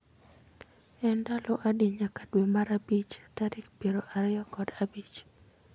En ndalo adi nyaka dwe mar abich tarik piero ariyo kod abich